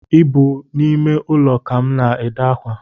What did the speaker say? Ị bụ n’ime ụlọ ka m na-ede akwa